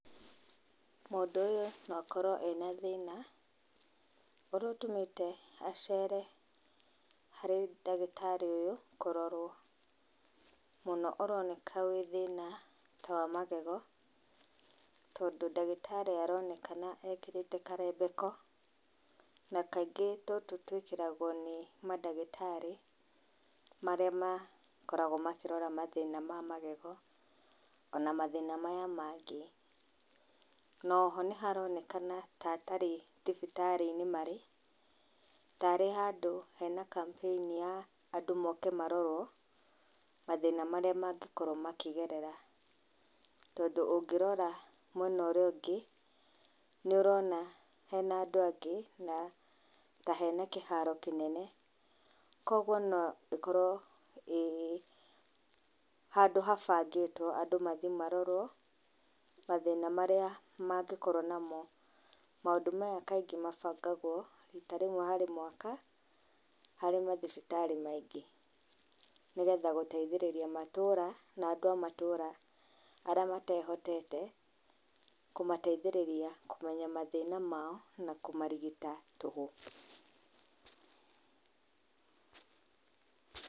Mũndũ ũyũ no akorwo ena thĩna ũrĩa ũtũmĩte acere harĩ ndagĩtarĩ ũyũ kũrorwo. Mũno ũroneka wĩ thĩna ta wa magego, tondũ ndagĩtarĩ aroneka ekĩrĩte karembeko na kaingĩ tũtũ twĩkĩragwo nĩ mandagĩtarĩ marĩa makoragwo makĩrora mathĩna ma magego, ona mathĩna maya mangĩ. Na o ho nĩ haronekana ta atarĩ thibitarĩ-inĩ marĩ, tarĩ handũ hena campaign andũ moke marorwo mathĩna marĩa mangĩkorwo makĩgerera. Tondũ ũngĩrora mwena ũrĩa ũngĩ, nĩ ũrona hena andũ angĩ na ta hena kĩharo kĩnene. Koguo no ĩkorwo ĩĩ handũ habangĩtwo andũ mathiĩ marorwo mathĩna marĩa mangĩkorwo namo. Maũndũ maya kaingĩ mabangagwo rita rĩmwe, harĩ mwaka harĩ mathibitarĩ maingĩ. Nĩgetha gũteithĩrĩria matũũra na andũ a matũũra arĩa matehotete, kũmateithĩrĩria kũmenya mathĩna mao na kũmarigita tũhũ.